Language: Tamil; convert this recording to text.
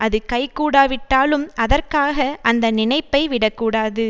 அது கைகூடாவிட்டாலும் அதற்காக அந்த நினைப்பை விடக்கூடாது